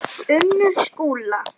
Unnur Skúla.